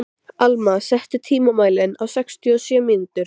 Alma, stilltu tímamælinn á sextíu og sjö mínútur.